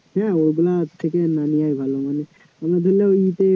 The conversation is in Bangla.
হ্যাঁ ওগুলা থেকে না নেওয়াই ভালো মানে